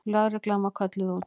Lögreglan var kölluð út.